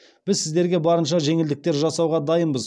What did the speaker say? біз сіздерге барынша жеңілдіктер жасауға дайынбыз